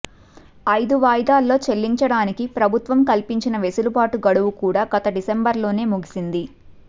ఐదు వాయిదాల్లో చెల్లించడానికి ప్రభుత్వం కల్పించిన వెసులుబాటు గడువుకూడా గత డిసెంబర్లోనే ముగిసింది